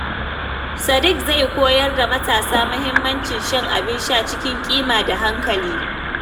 Sadiq zai koyar da matasa mahimmancin shan abin sha cikin kima da hankali.